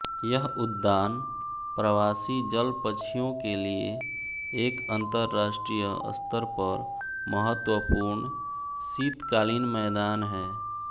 यह् उद्यान प्रवासी जल पक्षियों के लिए एक अंतरराष्ट्रीय स्तर पर महत्वपूर्ण शीतकालीन मैदान है